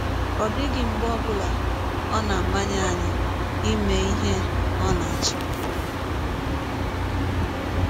Ọ dịghị mgbe ọ bụla ọ na - amanye anyị ime ihe ọ na - achọ.